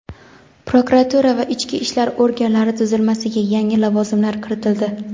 Prokuratura va ichki ishlar organlari tuzilmasiga yangi lavozimlar kiritildi.